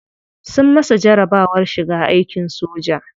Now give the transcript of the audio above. Sun masa jarabawar shiga aikin soja.